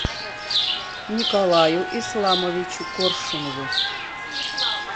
николаю исламовичу коршунову